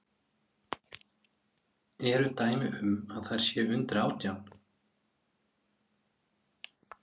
Eru dæmi um að þær séu undir átján?